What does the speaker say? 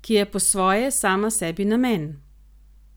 ki je po svoje sama sebi namen?